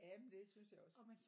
Jamen det synes jeg også